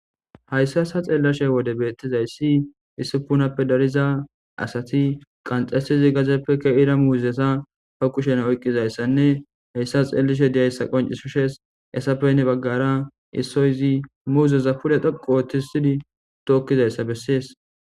hayssa sha xeellashe wode beettizayssi issupunappe dariza asati qanxesizi gazeppe ke7ira muuzesa fa qushena oyqqizayssanne hayssa xeellishe diyayssa qoncisushees esapenne baggara issoyzi muuzesa pule dhoqotisidi tookkizayssa bessees